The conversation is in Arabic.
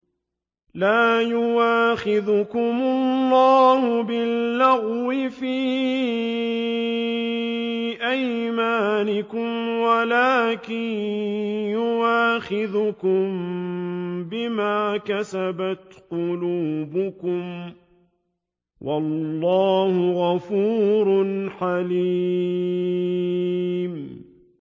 لَّا يُؤَاخِذُكُمُ اللَّهُ بِاللَّغْوِ فِي أَيْمَانِكُمْ وَلَٰكِن يُؤَاخِذُكُم بِمَا كَسَبَتْ قُلُوبُكُمْ ۗ وَاللَّهُ غَفُورٌ حَلِيمٌ